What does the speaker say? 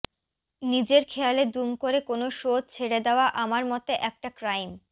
নিজের খেয়ালে দুম করে কোনও শো ছেড়ে দেওয়া আমার মতে একটা ক্রাইম